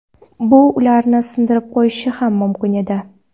Bu ularni sindirib qo‘yishi ham mumkin edi.